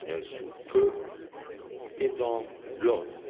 sous peu et dans l'ordre.